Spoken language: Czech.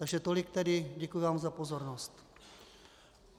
Takže tolik tedy, děkuji vám za pozornost.